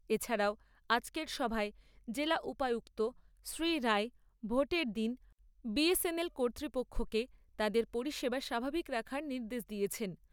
এছাড়াও আজকের সভায় জেলা উপায়ুক্ত শ্রীরায় ভোটের দিন বি এস এন এল কর্তৃপক্ষকে তাদের পরিষেবা স্বাভাবিক রাখার নির্দেশ দিয়েছেন।